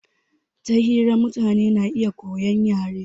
Ta hira mutane na iya koyan yare